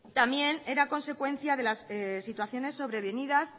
también era consecuencia de las situaciones sobrevenidas